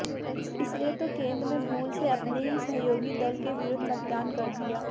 इसीलिए तो केन्द्र में भूल से अपने ही सहयेागी दल के विरुद्ध मतदान कर दिया